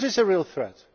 What is a real threat?